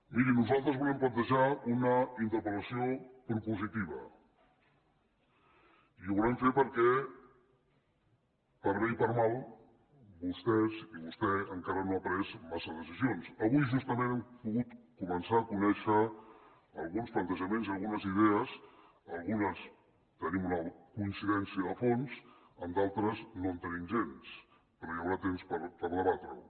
miri nosaltres volem plantejar una interpel·lació propositiva i ho volem fer perquè per bé i per mal de vostès i vostè encara no ha pres gaire decisions avui justament hem pogut començar a conèixer alguns plantejaments i algunes idees en algunes tenim una coincidència de fons en d’altres no en tenim gens però hi haurà temps per debatre ho